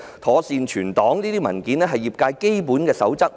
妥善保存 RISC 表格是業界的基本守則。